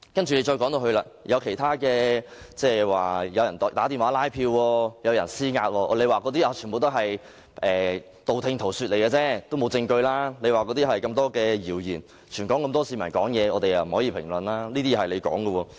接着，我們提出有人打電話拉票、施壓，政府便說這些全是道聽塗說、謠言，沒有證據，又說全港很多市民都會發表意見，不便作出評論。